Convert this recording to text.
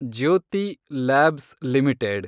Jyothi labs limited